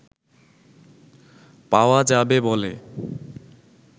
পাওয়া যাবে বলে